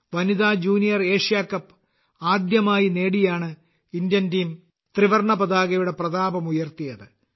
വനിതാ junior Asia cup ആദ്യമായി നേടിയാണ് ഇന്ത്യൻ ടീം ത്രിവർണപതാകയുടെ പ്രതാപം ഉയർത്തിയത്